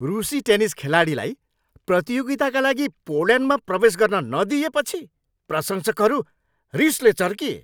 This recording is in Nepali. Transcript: रुसी टेनिस खेलाडीलाई प्रतियोगिताका लागि पोल्यान्डमा प्रवेश गर्न नदिइएपछि प्रशंसकहरू रिसले चर्किए।